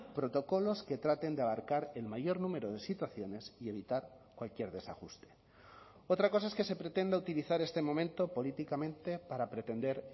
protocolos que traten de abarcar el mayor número de situaciones y evitar cualquier desajuste otra cosa es que se pretenda utilizar este momento políticamente para pretender